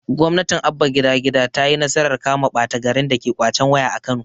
gwamnatin abba gida gida tayi nasarar kama ɓata garin dake ƙwacen waya a kano